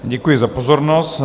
Děkuji za pozornost.